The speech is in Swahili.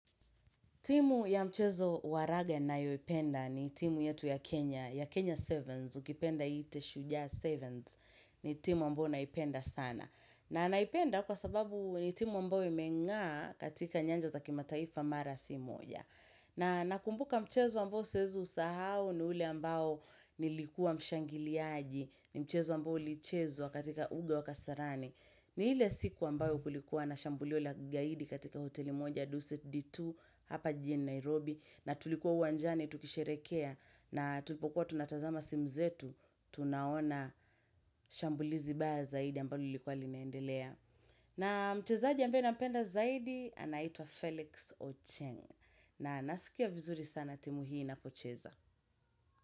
Timu ya mchezo wa raga nayoipenda ni timu yetu ya Kenya, ya Kenya 7s, ukipenda iite shujaa 7s, ni timu ambayo naipenda sana. Na naipenda kwa sababu ni timu ambayo imeng'aa katika nyanja za kimataifa mara si moja. Na nakumbuka mchezo ambao siwezi usahau ni ule ambo nilikua mshangiliaji, ni mchezo ambao ulichezwa katika uga wa Kasarani. Ni ile siku ambayo kulikuwa na shambulio la kigaidi katika hoteli moja Duset D2 hapa jijini Nairobi na tulikuwa uwanjani tukisherekea na tulipokuwa tunatazama simu zetu, tunaona shambulizi baya zaidi ambalo lilikuwa linaendelea. Na mchezaji ambaye nampenda zaidi anaitwa Felix Ocheng na nasikia vizuri sana timu hii inapocheza.